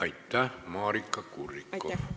Aitäh, Maarika Kurrikoff!